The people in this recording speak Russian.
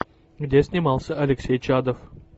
где снимался алексей чадов